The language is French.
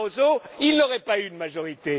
Barroso, il n'aurait pas eu de majorité.